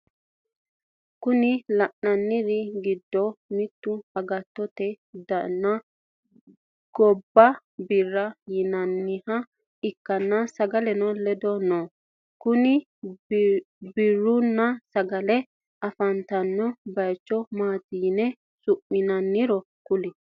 Kowicho lainannir giddo mittu agattote dani giddo biira yinanniha ikkana sagaleno ledo no kuni biirunna sagale afantanno bayicho maati yine su'minaniro kulle?